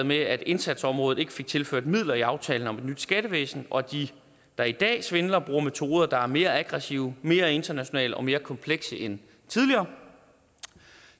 med at indsatsområdet ikke fik tilført midler i aftalen om et nyt skattevæsen og at de der i dag svindler bruger metoder der er mere aggressive mere internationale og mere komplekse end tidligere